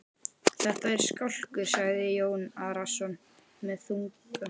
Þetta er skálkur, sagði Jón Arason með þunga.